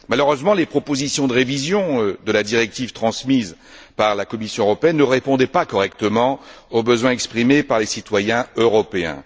Malheureusement, les propositions de révision de la directive transmises par la Commission européenne ne répondaient pas correctement aux besoins exprimés par les citoyens européens.